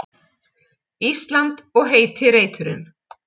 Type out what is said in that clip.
Ísland og heiti reiturinn.